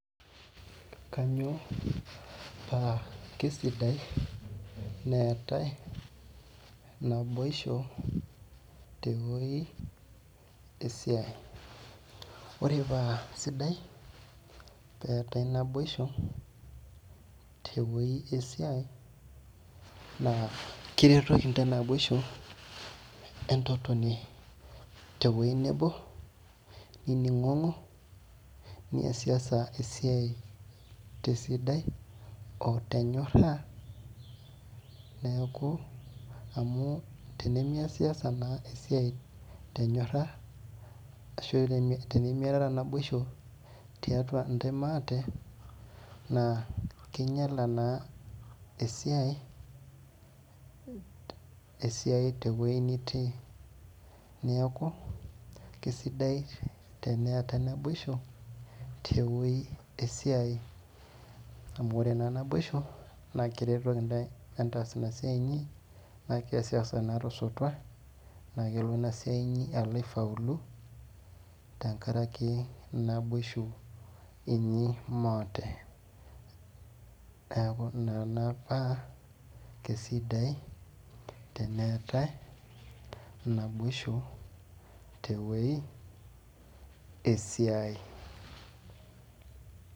Kanyio paa kesidai neetae naboisho tewoi esiai ore paasidai tenetai naboisho tewoi esiai na kiretoki ntae naboisho entotoni tewoi nabo niningongo niasiasa esiai tesidai otenyora neaku tenimiasasa na esiai tenyora ashu temiataya naboisho tiatua ntae maate naa kinyala naa esiai tewoi nitii neaku kesidai tenetai naboisho tewoi esiai amu ore naboisho na keretoki ntae entas inasiai inyi na keasi na tosotua na kelo inasia inyi aifaulu tenkaraki naboisho inyi maate neaku kesidai teneetae naboisho tewoi esiai.